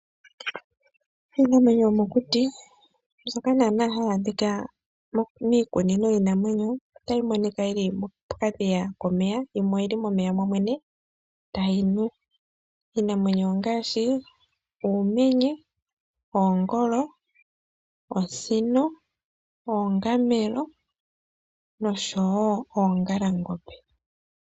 Iinamwenyo yomokuti mbyoka hayi adhika miikunino yiinamwenyo otayi monika yili mokadhiya komeya yimwe oyili momeya momwene tayi nu. Iinamwenyo ongaashi uumenye , oongolo, osino, oongamelo noongalangombe.